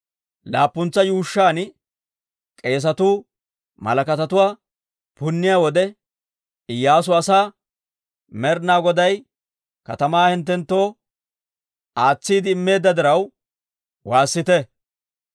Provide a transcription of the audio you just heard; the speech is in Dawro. Laappuntsa yuushshan, k'eesatuu malakatatuwaa punniyaa wode, Iyyaasu asaa, «Med'ina Goday katamaa hinttenttoo aatsiide immeedda diraw, waassite!